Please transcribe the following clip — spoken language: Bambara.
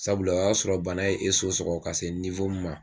Sabula o y'a sɔrɔ bana ye e so sɔgɔ ka se min ma